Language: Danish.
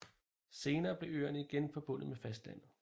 Senere blev øerne igen forbundet med fastlandet